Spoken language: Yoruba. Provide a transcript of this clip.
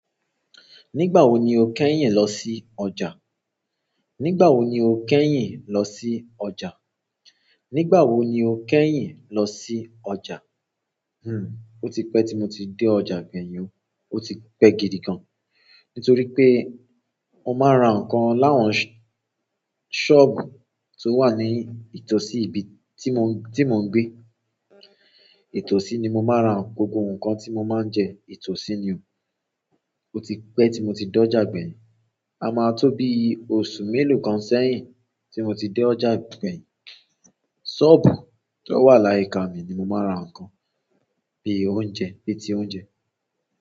Nígbà wo ni o kẹ́yìn lọ sí ọjà? Nígbà wo ni o kẹ́yìn lọ sí ọjà? Nígbà wo ni o kẹ́yìn lọ sí ọjà? Ó ti pẹ́ tí mo ti dé ọjà gbẹ̀yìn o, ó ti pẹ́ gidi gan. Nítorí pé o máa ra nǹkan láwọn sọ́ọ̀bù tó wà ní ìtọ̀sí ibi tí mo, tí mo ń gbé. Ìtọ̀sí ni mo máa ń ra gbogbo nǹkan tí mo máa ń jẹ, ìtọ̀sí ni o. Ó ti pẹ́ tí mo ti dé ọjà ìgbèyanjú. A máa tó bi oṣù mélòó kan sẹ́yìn tí mo ti dé ọjà ìgbèyanjú. Sọ́ọ̀bù tó wà láyìíka mi ni mo máa ń ra nǹkan, bí i oúnjẹ, bí ti oúnjẹ.